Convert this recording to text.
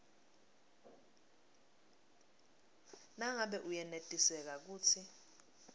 nangabe uyenetiseka kutsi